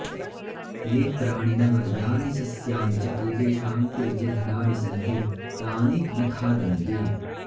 ये प्राणिनः यानि सस्यानि च एतेषां कुलचिह्नानि सन्ति तानि न खादन्ति